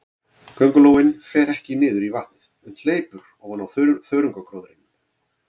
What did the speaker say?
Köngulóin fer ekki niður í vatnið, en hleypur ofan á þörungagróðrinum.